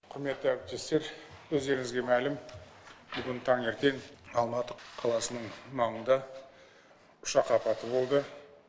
құрметті әріптестер өздеріңізге мәлім бүгін таңертең алматы қаласының маңында ұшақ апаты болды